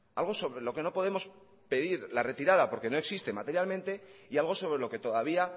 algo sobre lo que no podemos pedir la retirada porque no existe materialmente y algo sobre lo que todavía